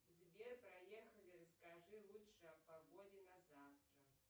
сбер проехали скажи лучше о погоде на завтра